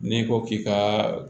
N'i ko k'i ka